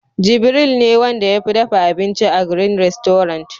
Jibiril ne Wanda ya fi dafa abinci a "green restaurant"